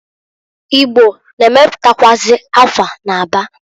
Igbo na-emeputakwụazị akwa n'Aba.